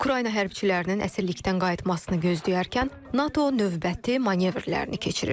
Ukrayna hərbçilərinin əsirlikdən qayıtmasını gözləyərkən NATO növbəti manevrlərini keçirir.